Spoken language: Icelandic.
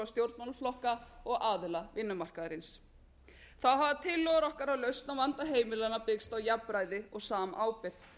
stjórnmálaflokka og aðila vinnumarkaðarins þá hafa tillögur okkar að lausn á vanda heimilanna byggst á jafnræði og samábyrgð